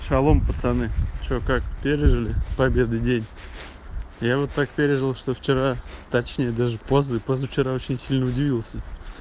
шалом пацаны что как пережили победы день я вот так переживал что вчера точнее даже поза позавчера очень сильно удивился